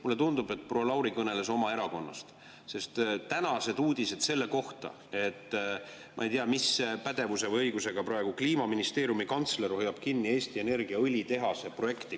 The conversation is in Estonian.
Mulle tundub, et proua Lauri kõneles oma erakonnast, sest tänased uudised on selle kohta, et – ma küll ei tea, mis pädevuse või õigusega – praegu Kliimaministeeriumi kantsler hoiab kinni Eesti Energia õlitehase projekti.